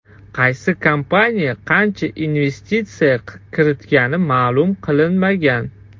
Qaysi kompaniya qancha investitsiya kiritgani ma’lum qilinmagan.